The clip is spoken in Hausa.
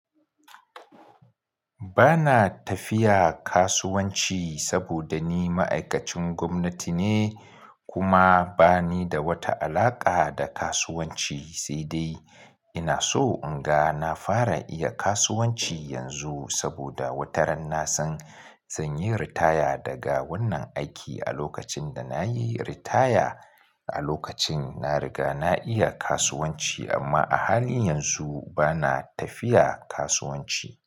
Ba na tafiya kasuwanci saboda ni ma'aikacin gwamnati ne kuma ba ni da wata alaƙa da kasuwanci sai dai ina so in ga na fara iya kasuwanci yanzu saboda wata ran na san, zan yi ritaya daga wannan aiki. A lokacin da na yi ritaya a lokacin na riga na iya kasuwanci amma a halin yanzu ba na tafiya kasuwanci.